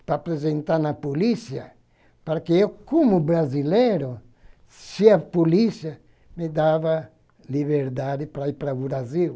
Para apresentar na polícia, para que eu, como brasileiro, se a polícia me dava liberdade para ir para o Brasil.